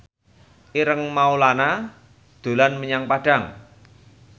Ireng Maulana dolan menyang Padang